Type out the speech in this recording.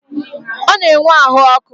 Ọ na-enwe ahụ ọkụ.